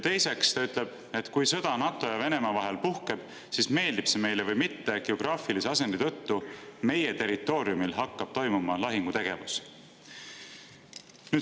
Teiseks ütles ta, et kui sõda NATO ja Venemaa vahel puhkeb, siis meeldib see meile või mitte, geograafilise asendi tõttu hakkab meie territooriumil toimuma lahingutegevus.